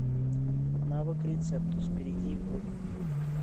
навык рецептус перейди в